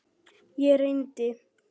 Ég reyndi.